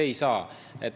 Ei saa.